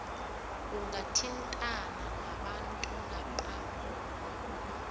ungathintana nabantu napa